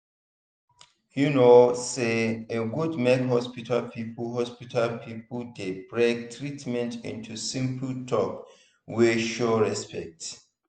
you know say e good make hospital people hospital people dey break treatment into simple talk wey show respect.